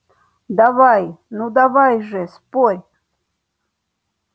давай ну давай же спорь